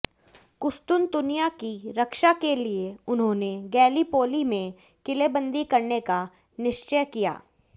कुस्तुंतुनिया की रक्षा के लिये उन्होंने गैलीपोली में किलेबंदी करने का निश्चय किया